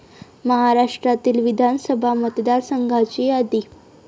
महाराष्ट्रातील विधानसभा मतदारसंघाची यादी.